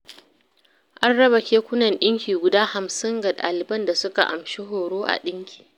An raba kekunan ɗinki guda hamsin ga ɗaliban da suka amshi horo a ɗinki